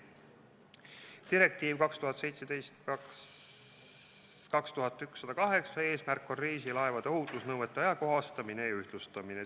Direktiivi 2017/2108 eesmärk on reisilaevade ohutusnõuete ajakohastamine ja ühtlustamine.